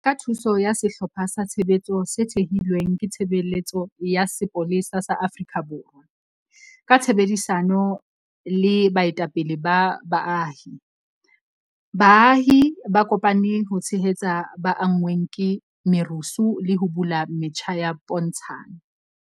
Ka thuso ya sehlopha sa tshebetso se thehilweng ke Tshebeletso ya Sepolesa sa Afrika Borwa ka tshebedisano le baetapele ba baahi, baahi ba kopane ho tshehetsa ba anngweng ke merusu le ho bula metjha ya pontshano.